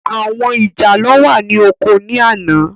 Àwọn ìjàlọ́ wà ní oko ní àná.